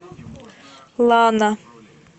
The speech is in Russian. лана